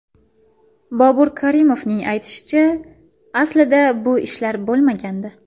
Bobur Karimovning aytishicha, aslida bu ishlar bo‘lmagandi.